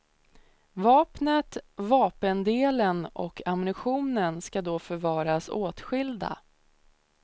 Vapnet, vapendelen och ammunitionen ska då förvaras åtskilda.